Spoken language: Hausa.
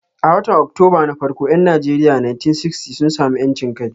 A watan Oktoba na farko 'yan Najeriya 1960 sun sami 'yancin kai.